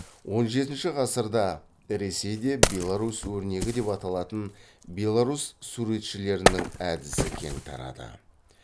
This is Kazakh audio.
он жетінші ғасырда ресейде беларусь өрнегі деп аталатын беларусь суретшілерінің әдісі кең тарады